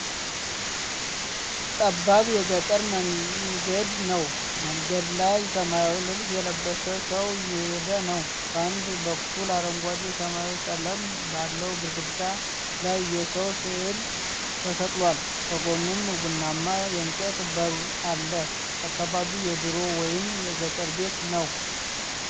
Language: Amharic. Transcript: ጠባብ የገጠር መንገድ ነው። መንገድ ላይ ሰማያዊ ልብስ የለበሰ ሰው እየሄደ ነው። በአንድ በኩል አረንጓዴ ሰማያዊ ቀለም ባለው ግድግዳ ላይ የሰው ሥዕል ተሰቅሏል፤ ከጎኑም ቡናማ የእንጨት በር አለ። አካባቢው የድሮ ወይም የገጠር ቤት ነው።